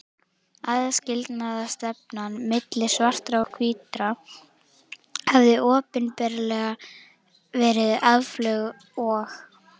Aðskilnaðarstefnan milli svartra og hvítra hafði opinberlega verið aflögð og